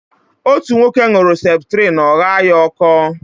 Otú nwoke ṅuru septrin ọ ghaa ya ọkọ